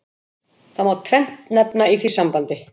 Það má nefna tvennt í því sambandi.